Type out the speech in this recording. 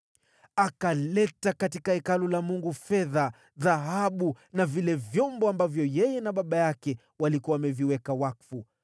Akaleta ndani ya Hekalu la Mungu fedha na dhahabu na vile vyombo ambavyo yeye na baba yake walikuwa wameviweka wakfu.